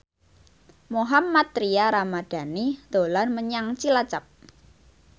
Mohammad Tria Ramadhani dolan menyang Cilacap